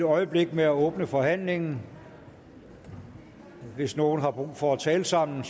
øjeblik med at åbne forhandlingen hvis nogen har brug for at tale sammen